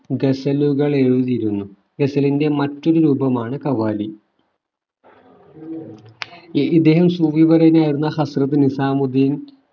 ഗസലുകൾ എഴുതിയിരുന്നു ഗസലിന്റെ മറ്റൊരു രൂപമാണ് ഖവാലി ഇദ്ദേഹം സൂഫിവര്യനായിരുന്ന ഹസ്‌റത് നിസാമുദ്ദീൻ